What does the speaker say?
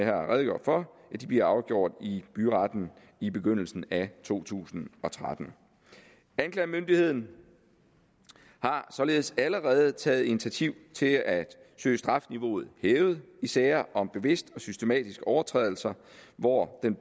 har redegjort for bliver afgjort i byretten i begyndelsen af to tusind og tretten anklagemyndigheden har således allerede taget initiativ til at søge strafniveauet hævet i sager om bevidste og systematiske overtrædelser hvor den